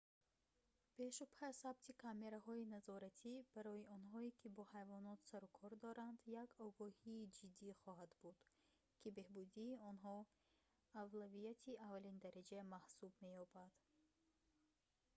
бешубҳа сабти камераҳои назоратӣ барои онҳое ки бо ҳайвонот сарукор доранд як огоҳии ҷиддӣ хоҳад буд ки беҳбудии онҳо авлавияти аввалиндараҷа маҳсуб меёбад